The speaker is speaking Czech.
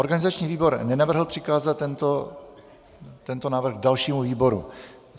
Organizační výbor nenavrhl přikázat tento návrh dalšímu výboru.